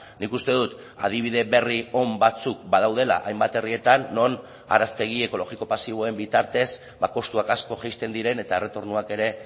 nik uste dut adibide berri on batzuk badaudela hainbat herrietan non araztegi ekologiko pasiboen bitartez kostuak asko jaisten diren eta erretornoak ere